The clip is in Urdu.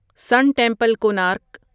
سن ٹیمپل، کونارک